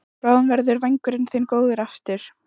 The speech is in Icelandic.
Bráðum verður vængurinn þinn góður aftur.